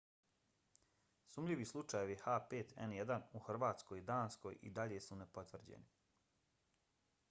sumnjivi slučajevi h5n1 u hrvatskoj i danskoj i dalje su nepotvrđeni